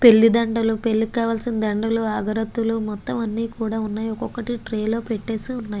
పెళ్లి దండల్లు పెళ్ళికి కావలిసిన దండల్లు అగర్బతుల్లు అని ట్రే లో వున్నాయ్.